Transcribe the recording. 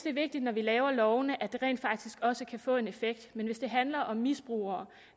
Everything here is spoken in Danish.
er vigtigt når vi laver lovene at de rent faktisk også kan få en effekt men hvis det handler om misbrugere